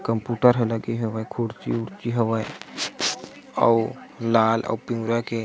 computer हला के हवे कुर्सी -उर्सी हवे अउ लाल और पीरा के --